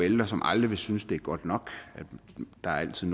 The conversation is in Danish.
ældre som aldrig vil synes at det er godt nok og at der altid